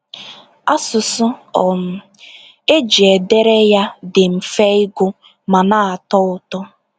Asụsụ um eji e dere ya dị mfe ịgụ ma na-atọ ụtọ.”